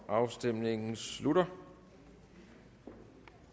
afstemningen slutter